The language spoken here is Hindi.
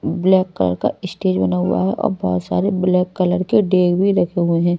ब्लैक कलर का स्टेज बना हुआ है और बहुत सारे ब्लैक कलर के डेग भी रखे हुए हैं।